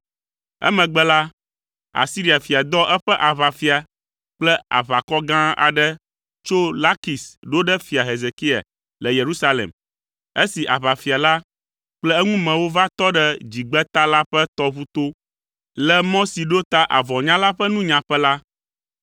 Emegbe la, Asiria fia dɔ eƒe aʋafia kple aʋakɔ gã aɖe tso Lakis ɖo ɖe Fia Hezekia le Yerusalem. Esi aʋafia la kple eŋumewo va tɔ ɖe Dzigbeta la ƒe tɔʋu to, le mɔ si ɖo ta avɔnyala ƒe nunyaƒe la,